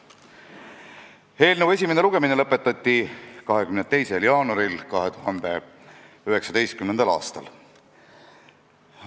Eelnõu esimene lugemine lõpetati 22. jaanuaril 2019. aastal.